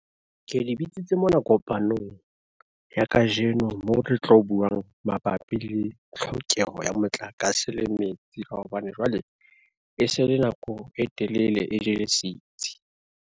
Ke le bitsitse mona kopanong, ya kajeno mo re tlo buang mabapi le tlhokeho ya motlakase le metsi ka hobane jwale e se le nako e telele e jele sitsi.